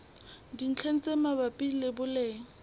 dintlheng tse mabapi le boleng